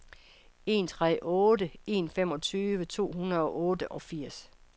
en tre otte en femogtyve to hundrede og otteogfirs